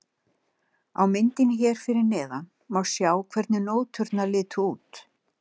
Á myndinni hér fyrir neðan má sjá hvernig nóturnar litu út.